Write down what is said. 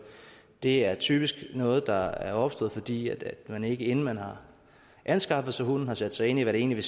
det er typisk noget der er opstået fordi man ikke inden man har anskaffet sig hunden har sat sig ind i hvad det egentlig